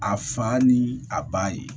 A fa ni a ba ye